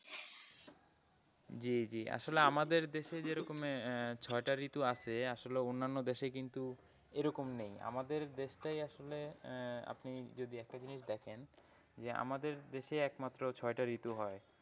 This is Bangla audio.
জি জি আসলে আমাদের দেশে যেরকম এ ছয়টা ঋতু আছে আসলে অন্যান্য দেশে কিন্তু এরকম নেই আমাদের দেশটাই আসলে আহ আপনি যদি একটা জিনিস দেখেন যে আমাদের দেশে একমাত্র ছয়টা ঋতু হয়।